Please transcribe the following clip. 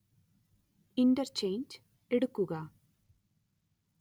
interchange എടുക്കുക